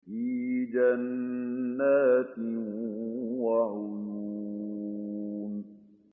فِي جَنَّاتٍ وَعُيُونٍ